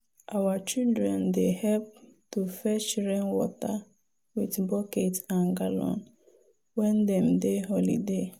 our children dey help to fetch rainwater with bucket and gallon when dem dey holiday.